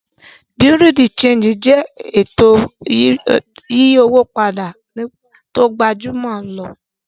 Bureau-de-Chanjí jẹ ètò yíyí owó pàdà tó gbàjúmọ̀ júlọ̀.